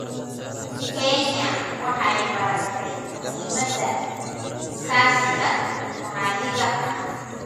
Kenya waxay baratay muhiimadda iskaashiga maxalliga ah.